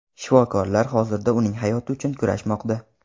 Shifokorlar hozirda uning hayoti uchun kurashmoqda.